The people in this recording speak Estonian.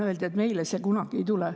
Öeldi, et meile see kunagi ei tule.